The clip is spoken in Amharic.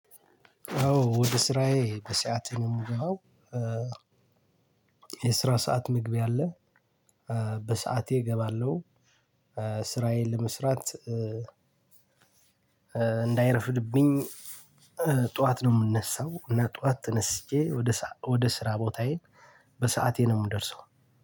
አዎ ወደ ስራዬ በሰአቴ ነው ምገባው። የስራ ሰዓት መግቢያ አለ። በሰአቴ እገባለሁ። ስራዬን ለመስራት። እንዳይረፍድብኝ ጥዋት ነው ምነሳው እና ጥዋት ተነስቼ። ወደ ሰአ ስራ ቦታዬ በሰአቴ ነው ምደርሰው።